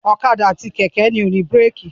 Ọ̀kadà àti kẹ̀kẹ́ ni ó ní búrékì.